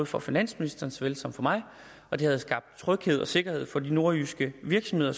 for finansministeren så vel som for mig og det havde skabt tryghed og sikkerhed for de nordjyske virksomheder